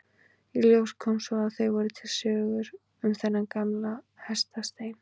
Í ljós kom svo að það voru til sögur um þennan gamla hestastein.